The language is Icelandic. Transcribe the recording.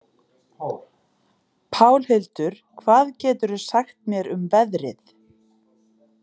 Pálhildur, hvað geturðu sagt mér um veðrið?